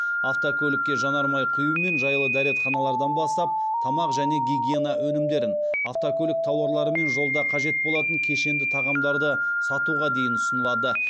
автокөлікке жанармай құю мен жайлы дәретханалардан бастап тамақ және гигиена өнімдерін автокөлік тауарлары мен жолда қажет болатын кешенді тағамдарды сатуға дейін ұсынылады